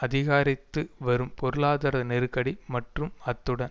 அதிகரித்து வரும் பொருளாதார நெருக்கடி மற்றும் அத்துடன்